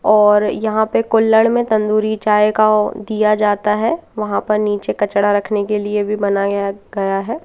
और यहां पे कुल्हड़ में तंदूरी चाय का दिया जाता है वहां पर नीचे कचड़ा रखने के लिए भी बनाया गया है।